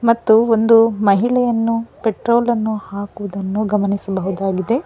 ಮತ್ತು ಒಂದು ಮಹಿಳೆಯನ್ನು ಪೆಟ್ರೋಲ್ ಅನ್ನು ಹಾಕುವುದನ್ನು ಗಮನಿಸಬಹುದಾಗಿದೆ.